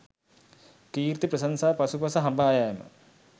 කීර්ති ප්‍රශංසා පසුපස හඹා යෑම